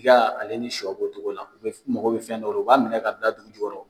Tiga ale ni shɔ b'o cogo la u bɛ u mago bɛ fɛn dɔ la o u b'a minɛ ka bila dugu jukɔrɔ.